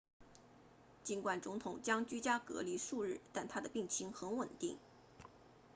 尽管总统将居家隔离数日但他的病情很稳定